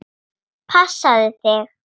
Verði hann Guði falinn.